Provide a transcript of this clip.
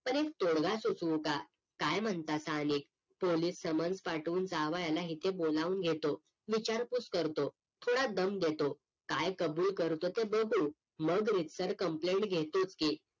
पण एक तोडगा सुचहूका काय म्हणता सहनिक पोलीस समज पाठवून जावयाला इथे बोलाहून घेतो विचारपूस करतो थोडा दम देतो काय कबुल करतो ते बघू मग REGISTER complain घेतोच की